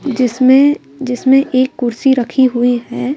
जिसमें जिसमें एक कुर्सी रखी हुई है।